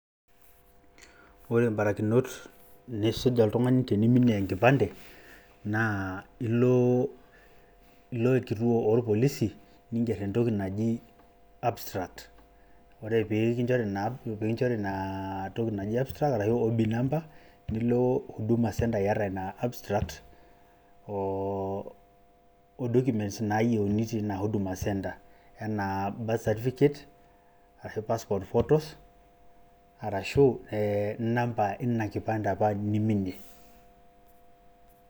Ore mbarikinot nisuj oltung`ani teniminie enkipande naa ilo, ilo kituo oo ilpolisi ning`err entoki naji abstract. Ore pee kinchori ina inaa toki naji abstract ashu OB number. Nilo huduma number iyata abstract o documents naayieuni teina huduma center enaa birth certificate, ashu passport photos arashu ee namba apa ina kipande neiminie.